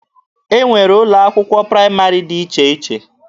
E nwere ụlọ akwụkwọ praịmarị dị iche iche.